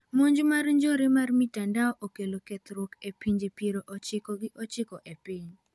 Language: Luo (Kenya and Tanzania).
Monj mar njore mar mitandao okelo kethruok e pinje piero ochiko gchiko epiny.